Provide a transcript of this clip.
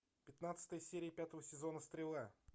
пятнадцатая серия пятого сезона стрела